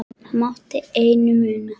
Það mátti engu muna.